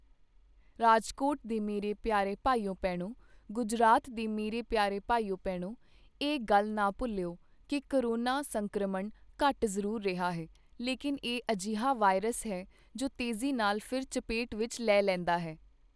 ਰਾਜਕੋਟ ਦੇ ਮੇਰੇ ਪਿਆਰੇ ਭਾਈਓ ਭੈਣੋਂ, ਗੁਜਰਾਤ ਦੇ ਮੇਰੇ ਪਿਆਰੇ ਭਾਈਓ ਭੈਣੋਂ ਇਹ ਗੱਲ ਨਾ ਭੁੱਲੇਓ, ਕਿ ਕੋਰੋਨਾ ਸੰਕ੍ਰਮਣ ਘੱਟ ਜ਼ਰੂਰ ਰਿਹਾ ਹੈ, ਲੇਕਿਨ ਇਹ ਅਜਿਹਾ ਵਾਇਰਸ ਹੈ ਜੋ ਤੇਜ਼ੀ ਨਾਲ ਫਿਰ ਚਪੇਟ ਵਿੱਚ ਲੈ ਲੈਂਦਾ ਹੈ।